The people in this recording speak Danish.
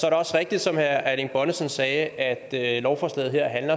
er også rigtigt som herre erling bonnesen sagde at lovforslaget her